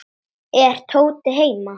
Er Tóti heima?